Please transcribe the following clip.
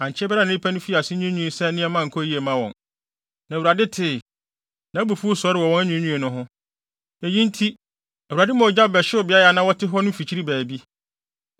Ankyɛ biara na nnipa no fii ase nwiinwii sɛ nneɛma nkɔ yiye mma wɔn, na Awurade tee. Nʼabufuw sɔree wɔ wɔn anwiinwii no ho. Eyi nti, Awurade maa ogya bɛhyew beae a na wɔte hɔ no mfikyiri baabi.